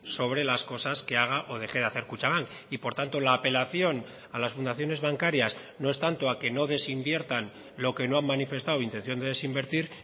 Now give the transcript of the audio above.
sobre las cosas que haga o deje de hacer kutxabank y por tanto la apelación a las fundaciones bancarias no es tanto a que no desinviertan lo que no han manifestado intención de desinvertir